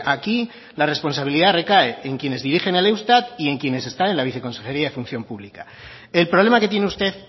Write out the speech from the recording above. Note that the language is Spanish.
aquí la responsabilidad recae en quienes dirigen el eustat y en quienes están en la viceconsejería de función pública el problema que tiene usted